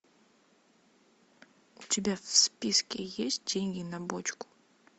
у тебя в списке есть деньги на бочку